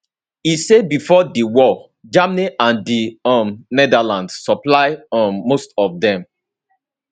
e say bifor di war germany and di um netherlands supply um most of dem